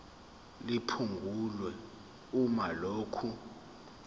liphungulwe uma lokhu